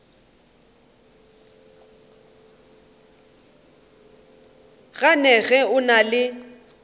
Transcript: gane ge o na le